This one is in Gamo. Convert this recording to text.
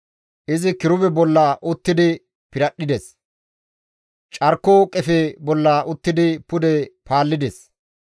Izi kirube bolla uttidi piradhdhides; carko qefe bolla uttidi pude paallides.